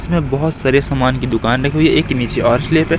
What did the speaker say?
इसमें बहुत सारे सामान की दुकान रखी हुई है एक नीचे और है।